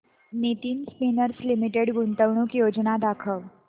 Nitin spinners limited गुंतवणूक योजना दाखव